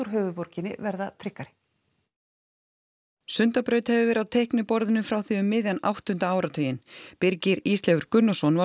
höfuðborginni verða tryggari Sundabraut hefur verið á teikniborðinu frá því um miðjan áttunda áratuginn Birgir Ísleifur Gunnarsson var